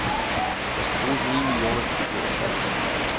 Der skal bruges ni millioner kubikmeter sand.